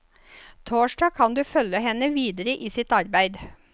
Torsdag kan du følge henne videre i sitt arbeid.